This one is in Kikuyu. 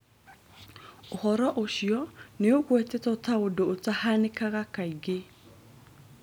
Ũhoro ũcio nĩũgwetetwo ta ũndũ ũtahanakaga kaingĩ